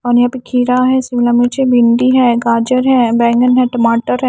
और यहां पे खिरा है शिमला मिर्च है भिंडी है गाजर है बैंगन है टमाटर है।